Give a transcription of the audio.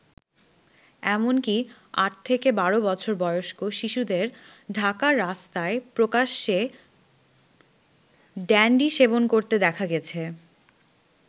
এমনকী আট থেকে বারো বছর বয়স্ক শিশুদের ঢাকার রাস্তায় প্রকাশ্যেই ড্যান্ডি সেবন করতে দেখা গেছে।